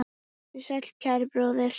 Vertu sæll, kæri bróðir.